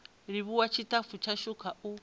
livhuwa tshitafu tshashu kha u